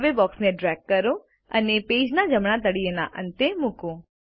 હવે બોક્સને ડ્રેગ કરો અને પેજના જમણા તળિયેના અંતે મૂકો